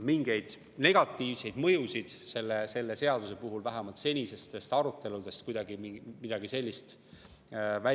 Mingeid negatiivseid mõjusid selle seaduse puhul vähemalt seniste arutelude käigus välja tulnud ei ole.